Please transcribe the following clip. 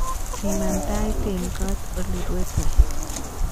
Siman Tait eng koot olerue toek